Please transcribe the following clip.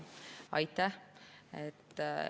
Aitäh!